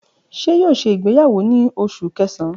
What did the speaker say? Ṣe yoo ṣe igbeyawo ni Oṣu Kẹsan?